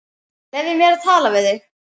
Leyfðu mér að tala við þig!